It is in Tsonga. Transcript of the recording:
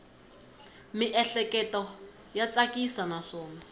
miehleketo ya tsakisa naswona